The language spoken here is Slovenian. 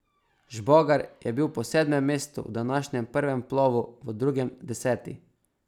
Žbogar je bil po sedmem mestu v današnjem prvem plovu v drugem deseti.